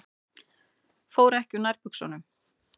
Fór ekki úr nærbuxunum.